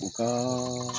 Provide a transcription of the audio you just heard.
U ka